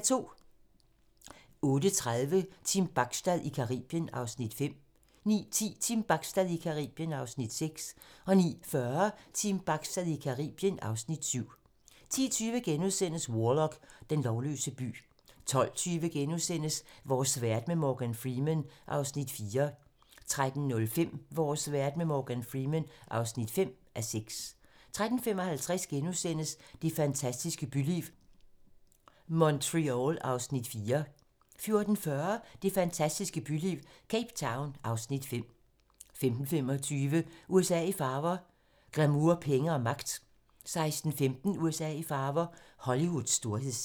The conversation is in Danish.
08:30: Team Bachstad i Caribien (Afs. 5) 09:10: Team Bachstad i Caribien (Afs. 6) 09:40: Team Bachstad i Caribien (Afs. 7) 10:20: Warlock - den lovløse by * 12:20: Vores verden med Morgan Freeman (4:6)* 13:05: Vores verden med Morgan Freeman (5:6) 13:55: Det fantastiske byliv - Montreal (Afs. 4)* 14:40: Det fantastiske byliv - Cape Town (Afs. 5) 15:25: USA i farver - glamour, penge og magt 16:15: USA i farver - Hollywoods storhedstid